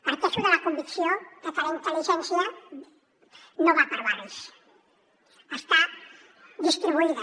parteixo de la convicció que la intel·ligència no va per barris està distribuïda